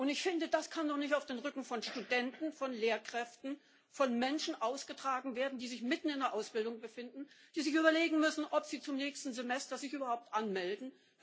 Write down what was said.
Und ich finde, das kann doch nicht auf dem Rücken von Studenten, von Lehrkräften, von Menschen ausgetragen werden, die sich mitten in der Ausbildung befinden, die sich überlegen müssen, ob sie sich zum nächsten Semester überhaupt anmelden.